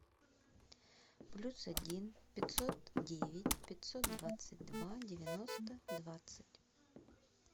плюс один пятьсот девять пятьсот двадцать два девяносто двадцать